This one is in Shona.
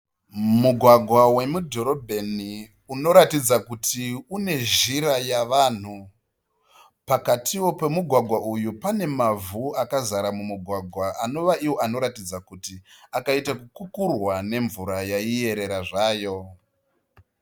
Mugwagwa wemudhorobheni unoratidza kuti une zhira yavanhu. Pakatiwo pemugwagwa uyu pane mavhu akazara mumugwagwa anova ivo anoratidza kuti akaita kukukurwa nemvura yaierera zvayo.